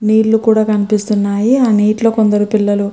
నీళ్ళు కూడా కనిపిస్తున్నాయి. ఆ నీటిలో కొందరు పిల్లలు -